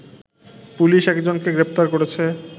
police একজনকে গ্রেপ্তার করেছে